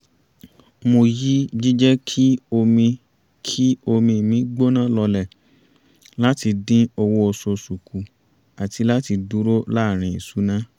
mo yí jíjẹ́ kí omi kí omi mi gbóná lọlẹ̀ láti dín owó oṣooṣù kù àti láti dúró láàrin ìṣúná